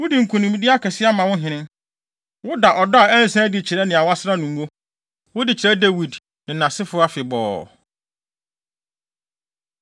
“Wode nkonimdi akɛse ama wo hene; woda ɔdɔ a ɛnsa da adi kyerɛ nea woasra no ngo, wode kyerɛ Dawid, ne nʼasefo afebɔɔ.”